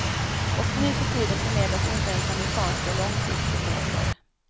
Och nu för tiden förmedlas inte ens amerikanska långtidsprognoser.